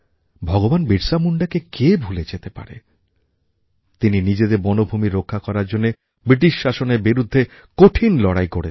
ভগবান বীরসা মুণ্ডাকে কে ভুলে যেতে পারে যিনি নিজেদের বনভূমির রক্ষা করার জন্য ব্রিটিশ শাসনের বিরুদ্ধে কঠিন লড়াই করেছেন